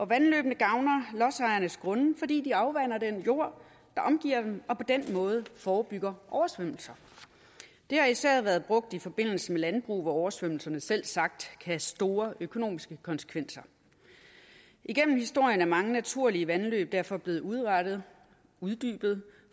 vandløbene gavner lodsejernes grunde fordi de afvander den jord der omgiver dem og på den måde forebygger oversvømmelser det har især været brugt i forbindelse med landbrug hvor oversvømmelserne selvsagt kan have store økonomiske konsekvenser igennem historien er mange naturlige vandløb derfor blevet udrettet uddybet